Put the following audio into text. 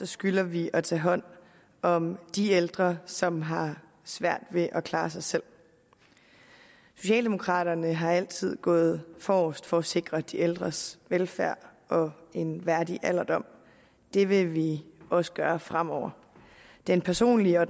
skylder vi at tage hånd om de ældre som har svært ved at klare sig selv socialdemokraterne har altid gået forrest for at sikre de ældres velfærd og en værdig alderdom og det vil vi også gøre fremover den personlige og